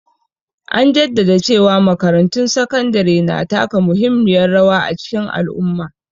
An jaddada cewa makarantun sakandare na taka muhimmiyar rawa a cikin al'umma.